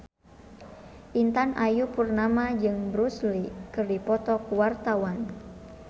Intan Ayu Purnama jeung Bruce Lee keur dipoto ku wartawan